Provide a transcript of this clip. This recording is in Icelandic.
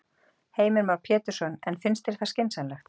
Heimir Már Pétursson: En finnst þér það skynsamlegt?